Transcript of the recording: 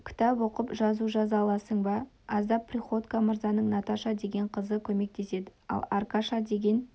кітап оқып жазу жаза аласың ба аздап приходько мырзаның наташа деген қызы көмектеседі ал аркаша деген